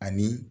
Ani